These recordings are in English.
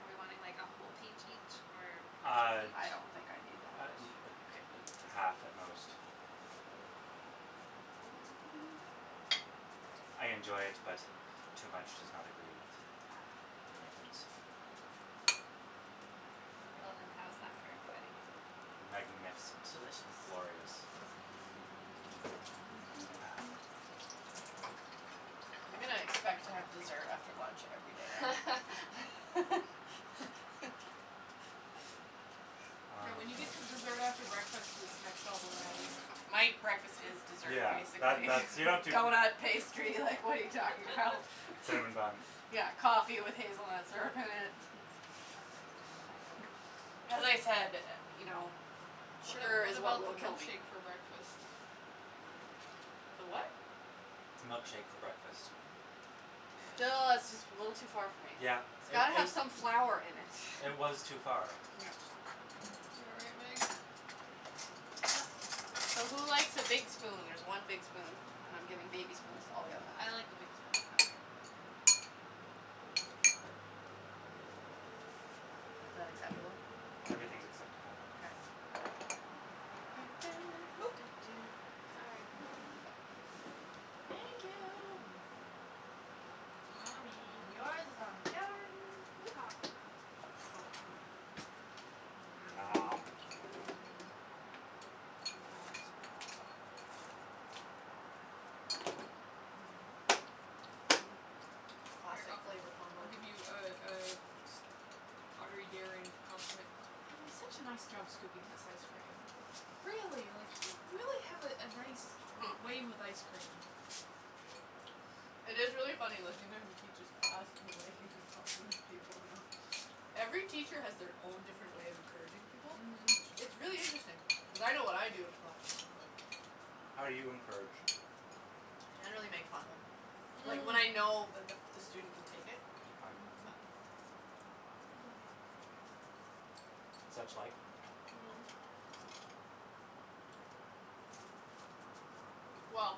Are we wanting, like, a whole peach each or half a Uh peach? I don't think I need that uh much. uh a Okay. half at most. I I Mkay. enjoy it, but too much does not agree with Ah. my innards. Well then, how's that for everybody? Magnificent. Delicious. Glorious. Ah. I'm gonna expect to have dessert after lunch every day now. Yes. Yeah, Um when you get to dessert after breakfast, it's next level, Nattie. My breakfast is dessert, Yeah, that basically. that's You don't do Donut, pastry, like, what are you talking about? Cinnamon bun. Yeah, coffee with hazelnut syrup in it. Mhm. As I said, you know, What sugar what is what about the will kill me. milkshake for breakfast? The what? Milkshake for breakfast. Yeah. Still, that's just a little too far for me. Yeah, It's it got to it have some flour in it. It was too far. Yeah. You all right, Meg? So, who likes a big spoon? There's one big spoon and I'm giving baby spoons to all the other ones. I like the big spoon. Okay. Is that acceptable? Everything's acceptable. K. Oop. Sorry. Thank you. Mm mm. On me. And yours is on the counter, Meagan. Yeehaw. Mmm. Mmm. Mmm. Noms. Noms. Mhm. Mhm. Here, I Classic flavor I'll combo. give you a a pottery daring compliment. Natalie, such a nice job scooping this ice cream. Really, like, you really have a a nice way with ice cream. It is really funny listening to him teach his class and the way he like compliments people, you know. Every teacher has their own different way of encouraging people. It's Mhm. it's really interesting. Cuz I know what I do in a classroom, but How do you encourage? I generally make fun of them. Like when I know that the the student can take it. Okay. Mhm. But Such like? Mm. Well,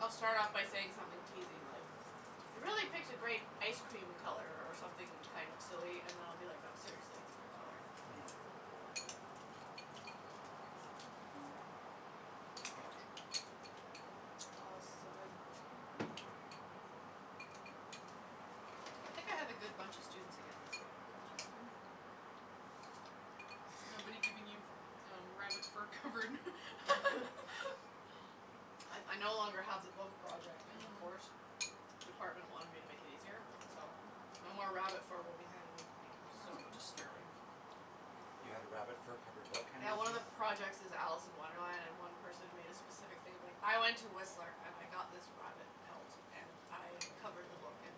I'll start off by saying something teasey, like, you really picked a great ice cream color, or something kind of silly. And I'll be like, no, seriously, it's a good color. Mhm. Too much. Oh this is so good. I think I have a good bunch of students again this year, so it's That's good. good. Nobody giving you rabbit fur covered I I no longer have the book project in the Mm. course. Department wanted me to make it easier, You're so welcome. no more rabbit fur will be handed in to me. That was That's so cool. disturbing. You had a rabbit fur covered book Yeah, one of the projects is Alice in Wonderland, and one person made a specific thing of like, I went to Whistler and I got this rabbit pelt and I covered the book in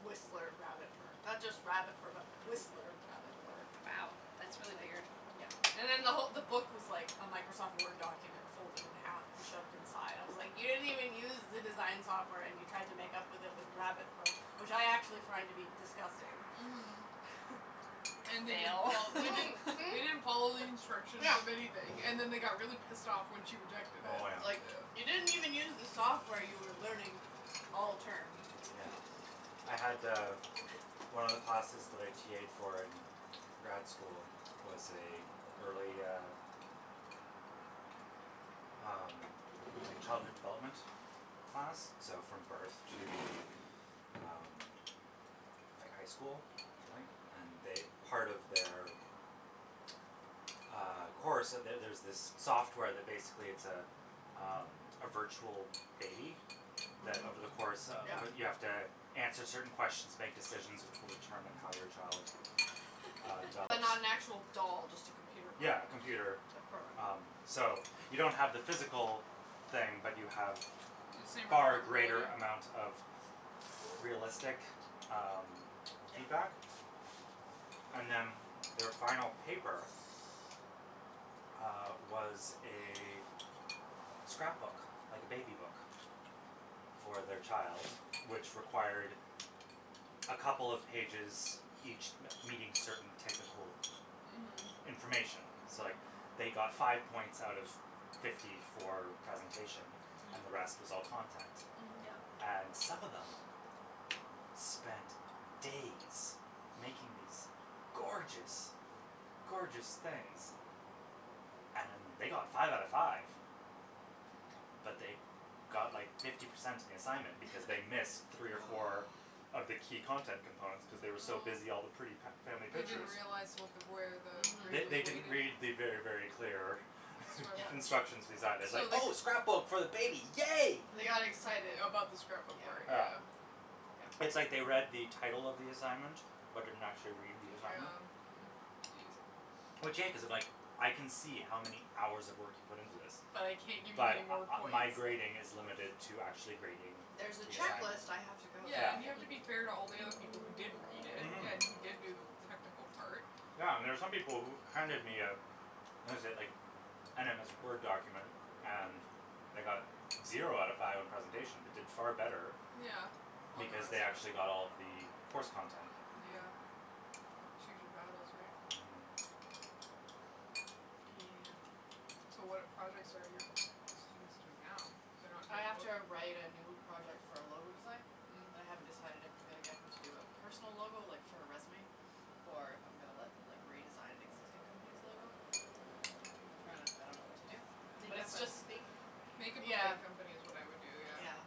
Whistler rabbit fur. Not just rabbit fur but Whistler rabbit fur. Wow, that's It's really like, weird. yeah And then the who- the book was like a Microsoft Word document folded in half and shoved inside. I was like, you didn't even use the design software and you tried to make up with it with rabbit fur, which I actually find to be disgusting. Mhm. And they didn't Fail. fol- they didn't Mhm, they didn't follow mhm. the instructions Yeah. of anything and then they got really pissed off when she rejected it, Oh, I was yeah. like, you yeah. didn't even use the software you were learning all term. Yeah. I had, uh, one of the classes that I TA'ed for in grad school was a early, uh, um, like, childhood development class, so from birth to, um, like, high school, I think. And they part of their, uh, course So there's this software that basically it's a, um, a virtual baby that Mhm. over the course of Yeah. You have to answer certain questions, make decisions which will determine how your child, uh, But develops. not an actual doll, just a computer Yeah, program. computer, The program, um, yeah. so you don't have the physical thing, but you have The same far greater responsibility. amount of This is the realistic, half chair. um, Yeah. feedback. And then their final paper uh, was a scrapbook, like a baby book for their child, which required a couple of pages, each me- meeting certain technical Mhm. Mhm. information. So, like, they got five points out of fifty for presentation and the rest Mm. was all content. Mhm. Yeah. And some of them spent days making these gorgeous, gorgeous things and they got five out of five But they got like fifty percent on the assignment because they missed three or four Oh. of the key content components cuz they were so busy all the pretty Oh. fa- family They didn't pictures. realize Hmm. what the where the They grade was they Mhm. didn't weighted. read the very, very clear Yeah. Instructions. instructions design. It was like, So they c- "Oh, scrapbook for the baby, yay!" They got excited. About the scrapbook part, Yeah. Yeah. yeah. It's like they read the Yeah. title of the assignment, but didn't actually read the assignment. Yeah. Hmm. Geez. Which, yeah, cuz if, like, I can see how many hours of work you put into this, But I can't give you any but more uh points. my grading is limited to actually grading There's a the assignment. checklist I have Yeah. to go Yeah, Yeah. through and you here. have to be fair to all the other people who did read it Mhm. and who did do the technical part. Yeah, and there's some people who handed me a what is it, like, an MS Word document and they got zero out of five on presentation but did far better Yeah, on the because rest they of actually it. got all of the course content. Mhm. Yeah. Kind of choose your battles, right? Mhm. Yeah. Yeah. So, what projects are your students doing now? They're not I doing a have book? to write a new project for a logo design, and I haven't Mm. decided if I'm gonna get them to do a personal logo, like, for a resume, or if I'm gonna let them, like, redesign an existing company's logo. I'm trying to I don't know what to do. But Make it's up a just fake Make company. up a Yeah. fake company is what I'd do, yeah. Yeah.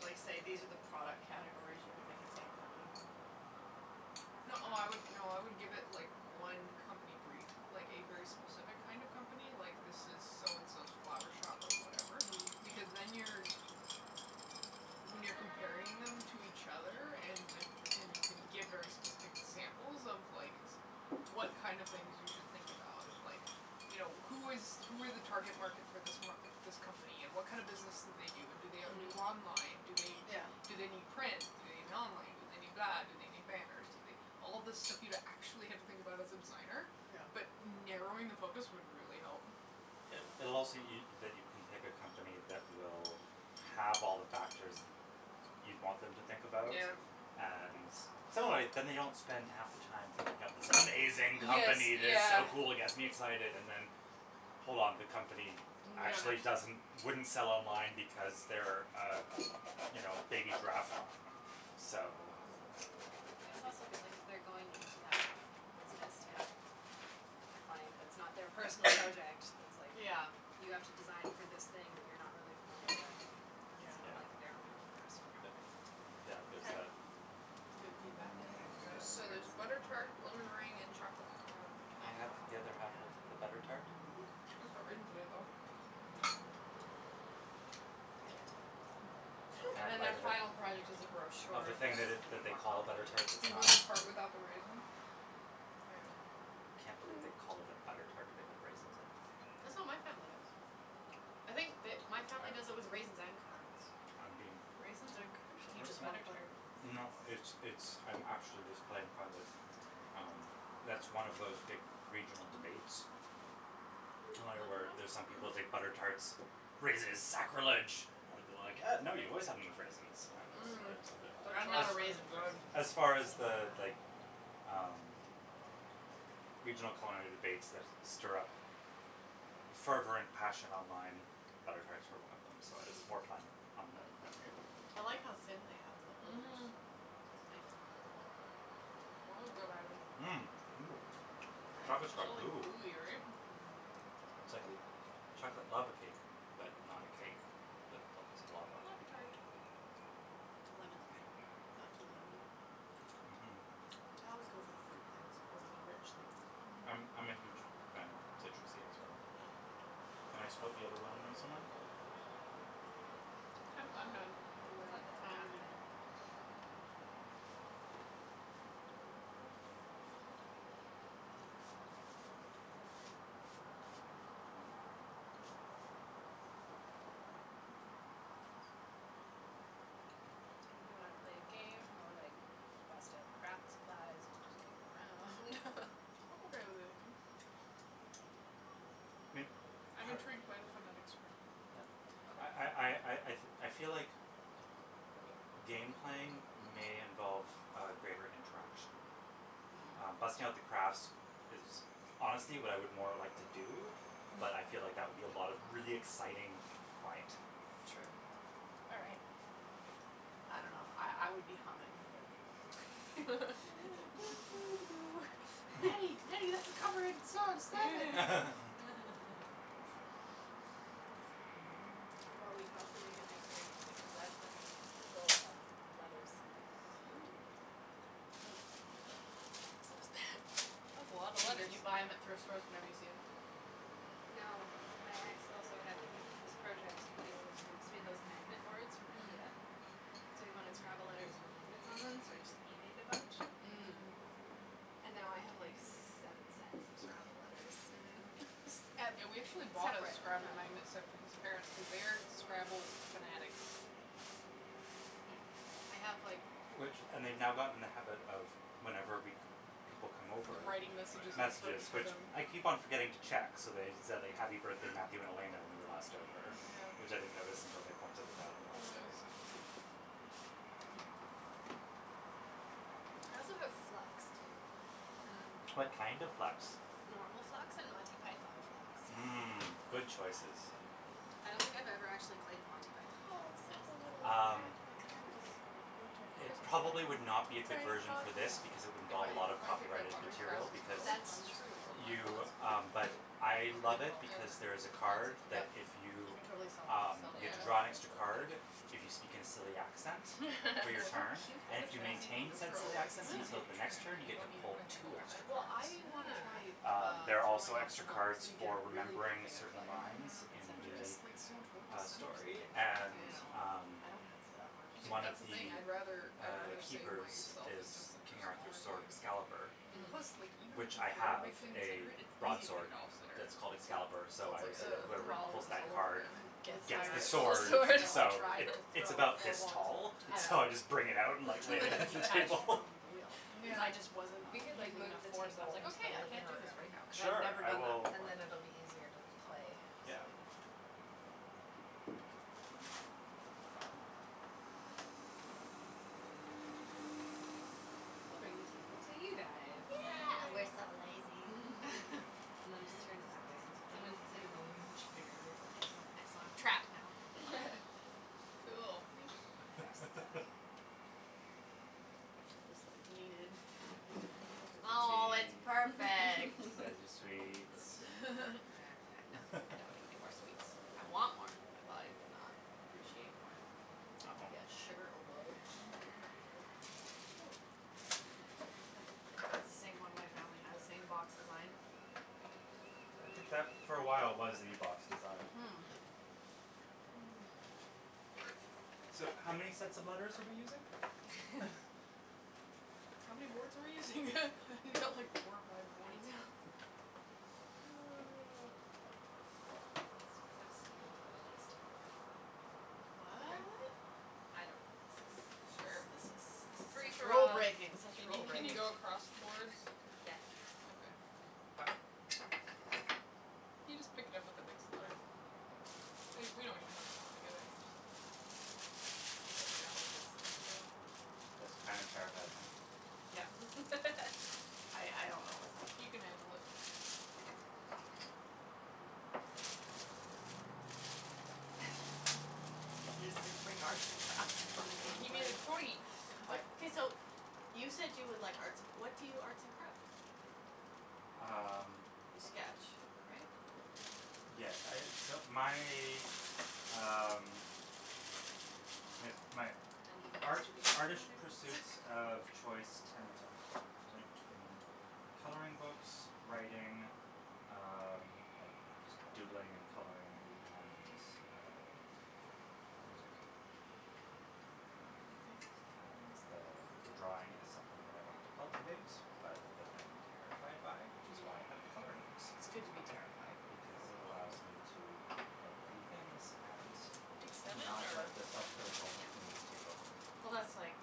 Like, say these are the product categories you can make a fake company for and No, I would, no, I would give it, like, one company brief, like a very specific kind of company, like, this is so and so's flower shop or whatever because Mm. then you're When you're comparing them to each other and with and you can give very specific examples of, like, what kind of things you should think about and, like, you know, who is who are the target market for this m- this company and what kind of business do they do and do they do Mm. online, do they Yeah. do they need print, do they need online, do they need that, do they need banners, do they All this stuff you'd actually have to think about as a designer, Yeah. but narrowing the focus would really help. Yeah. It it'll also y- that you can pick a company that will have all the factors that you'd want them to think about. Yeah. And so, anyway, then they don't spend half the time thinking up this amazing Yes, company that's yeah. so cool, gets me excited and then hold on, the company Yeah, and actually actually doesn't wouldn't sell online because they're a, you know, a baby giraffe farm, so Hmm. And I it's think also that good, that like, if they're going into that business to have a client that's not their personal project that's, like, Yeah. you have to design for this thing that you're not really familiar with, Yeah. it's not Yeah. like their own personal Y- preference into it. yeah, there's Okay. that. That's good Oh, feedback. yeah, I forgot There's about the so there's butter tarts. tart, lemon meringue and chocolate pecan. Can Oh, I have wow. Oh, the other half of the yeah. butter tart? Mm mhm. It's got raisins in it, though. Hmm. Can I And have a then their bite of it, final product is a of the brochure thing that that's gonna be that they more call a butter complicated, tart that's but You want not? the part without the raisin? There you I go. can't believe they call it a butter tart but they put raisins in it. That's what my family does. I think the my family does it I with raisins and currants. I'm being Raisins are Yeah. crucial Do you Or- to just n- want butter butter. tarts. No, it's it's, I'm actually just playing fun that, um that's one of those big regional Mhm. debates, Mm, lemon where one? there's some people think Mhm. butter tarts, raisins is Oh, sacrilege. I would be like, uh these no, are very you good. always have them with raisins. Mm. And That I'm as not a chocolate one is raisin good. person, so as Oh, far as my the, god. like, um, regional Mm. culinary debates that stir up fervent passion online, butter tarts were one of them, so I was Mhm. more playing on the memory of the thing. I like how thin they have the holders. Mhm. That is good item. Mmm. Ooh, Right. chocolate's It's Right? got all goo. gooey, right? Mmm. It's like a chocolate lava cake but not a cake but lots of lava. Lava tart. Lemon's good. Not too lemony. Mhm. I always go for the fruit things over the rich things. Mhm. I'm I'm a huge Mm. fan of citrusy as well. Yeah. Can I split the other lemon with someone? I'm I'll I'm have done. Do I'll whatever. have the I other only half of need it. one. Oh, my god. So, do we wanna play a game or, like, bust out craft supplies and just goof around? I'm okay with anything. May- I'm par- intrigued by the phonetic Scrabble. yeah I I Okay. I I I feel like game playing may involve a greater interaction. Um, Mm. busting out the crafts is honestly what I would more like to do, but I feel like that would be a lot of really exciting quiet. True. All right. I don't know, I I would be humming, but Nattie, Nattie, that's a copyrighted song, stop it! Well, we could also make it extra interesting cuz that's fucking full of letters. Ooh. So is that. That's a lotta You but letters. you buy them at thrift stores whenever you see them? No, my ex also had he this project that he wanted to do. So he had those magnet boards from Mm. Ikea, Mm. so he wanted Scrabble letters with magnets on them, so I just eBayed a bunch Mm. Mm. and now I have, like, seven sets of Scrabble letters. Mhm. S- ep- Yeah, we actually bought a separate Scrabble from. magnet set for his parents cuz they are Scrabble fanatics. Hmm. I have, like Which and they've now gotten in the habit of, whenever we c- people come over, Writing messages on the fridge messages for which them. I keep on forgetting to check, so they said "happy birthday, Matthew and Elena" when we were last over, which Yeah. I didn't notice until they pointed it out on the last That was day. so cute. Hmm. I also have Flux, too, if we want to play What Mm. that. kind of Flux? Normal Flux and Monty Python Flux. I Mm, don't good I choices. don't know what any I don't think of I've these ever are. actually played the Monty Python Flux on Oh, look this at the little ca- Um, thing. the cactus in the winter it Christmas probably would not cactus. be a good Tiny version pot for for this because it that. would If involve a I lot if of I take that copyrighted pottery class material in because Turo, That's I'm just going true. to throw plant you, pots um, but I and That's a love then good it call. and because then there is a put plants in card them. that Yep. if You you, can totally sell them um, sell you it have for to more draw an when there's a extra Yeah. little plant card, in it. if you speak in a silly accent They're for your so It's so turn cute, cute And like if such you an that. easy thing maintain to said throw, silly like, it's accent Mm. easier until to the next turn, right, turn, you you get to don't need to pull put a handle two on it. extra Well, cards. I wanna try, Oh. Um, uh, there are also throwing off the extra hump cards so you get a for really big remembering a thing of certain clay lines Mm, and in but it center it. just, like, so much work the, to uh, center something story like that, and, though. I know. um I don't have the upper Yeah, but One of strength. that's the thing. the, I'd rather uh, I'd rather save keepers myself That's is and just center King Arthur's smaller sword, things. Excalibur, Mm. Plus, like, Mhm. even if which you I throw a have big thing and center a it, it's easy to get broadsword it off center, that's called Yeah. Excalibur, so so it's I like, always say that oh, I whoever have Well, to do pulls this all that over card again. with Gets my gets the the wrist, actual two sword, weeks sword. ago I so tried it to it's throw about four this balls. tall, so I just Yeah. bring it out and, like, lay Two it of them against the detached table. from the wheel cuz I just wasn't Um. We Yeah. could, like, using enough move the force. I was table like, into okay, the I can't living do this right room. now, cuz I had Sure, never I done that will And before. then it'll be easier to So, play. Yeah. silly. We'll bring the table to you guys. Yeah, we're Yay. so lazy. And then just turn it that way. Someone Angle, can sit in the angle. living room chair and Excellent, excellent, trapped now. Cool. Thank you. Now you're stuck. I'll just like lean in. There's Oh, your it's tea. perfect. There's your sweets. uh-huh, no, I don't need anymore sweets. I want more. My body will not appreciate more. It'll Oh. be at sugar overload. Mhm. That's the same one my family has, same box design. I think that for a while was the box design. Hmm. So, how many sets of letters are we using? How many boards are we using? You've got like four or five I boards. know. Oh. Let's just have stupid fun on these two boards, then when we're all Okay. What? I don't know, This is this Sure. this is is this this is is free such for rule all. breaking, Can such you rule can you breaking. go across the boards? Yes. Okay. Ho- okay. You just pick it up with the next letter. We we don't even have to put them together, you just have you just have to know that it's the next row. This kind of terrifies me. I I don't know what's happening. He can handle it. He's just gonna bring arts and crafts to the game He made plan. a totey. I Okay, so, you said you would like arts and cr- what do you arts and craft? Um You sketch, right? Yes, I, so my, um, I guess my Uneven art- distribution of artish letters. pursuits of choice tend to to between coloring books, writing, um, like just doodling and coloring and, uh, music. Um, and the, uh, the the drawing is something that I want to cultivate, but that I am terrified by, which is why I have the Mhm. coloring books, It's good to be terrified for because a while. it allows me to make pretty things and We take seven not or let the self critical Yeah. me take over. Well, that's like,